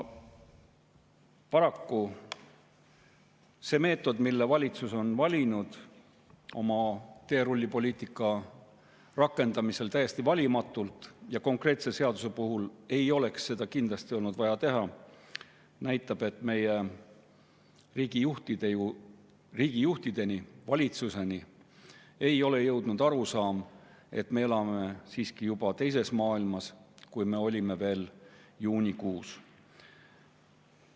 Paraku see meetod, mille valitsus on valinud oma teerullipoliitika täiesti valimatu rakendamisega – ja konkreetse seaduse puhul ei oleks seda kindlasti olnud vaja teha –, näitab, et meie riigijuhtideni, valitsuseni ei ole jõudnud arusaam, et me elame siiski juba teises maailmas, kui me olime veel juunikuus.